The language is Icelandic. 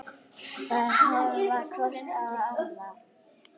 Þær horfa hvor á aðra.